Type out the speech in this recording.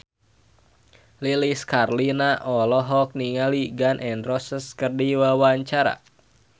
Lilis Karlina olohok ningali Gun N Roses keur diwawancara